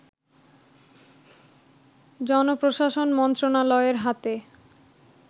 জনপ্রশাসন মন্ত্রণালয়ের হাতে